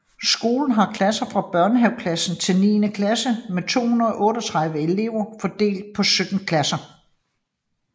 Skolen har klasser fra børnehaveklasse til niende klasse med 238 elever fordelt på 17 klasser